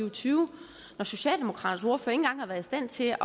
og tyve når socialdemokraternes ordfører ikke engang har været i stand til